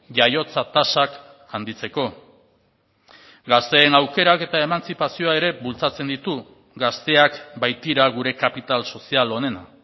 jaiotza tasak handitzeko gazteen aukerak eta emantzipazioa ere bultzatzen ditu gazteak baitira gure kapital sozial onena